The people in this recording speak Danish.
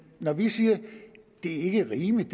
når vi siger at det ikke er rimeligt